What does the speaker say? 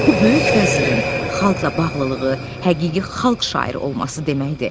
Bu böyük vəzirin xalqla bağlılığı, həqiqi xalq şairi olması deməkdir.